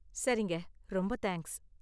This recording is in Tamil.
சரிங்க, ரொம்ப தேங்க்ஸ்.